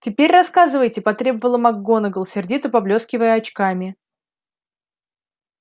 теперь рассказывайте потребовала макгонагалл сердито поблёскивая очками